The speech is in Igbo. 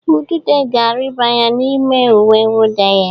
Udude ga-arịba ya n'ime uwe nwụda ya.